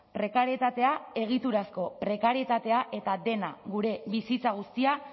prekarietatea egiturazko prekarietatea eta dena gure bizitza guztia